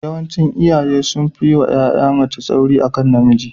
Yawancin iyaye sun fi yi wa ƴa mace tsauri akan ɗa namiji.